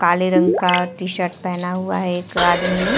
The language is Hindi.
काले रंग का टी शर्ट पहना हुआ है एक आदमी ने।